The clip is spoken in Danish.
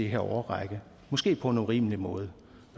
her årrække måske på en urimelig måde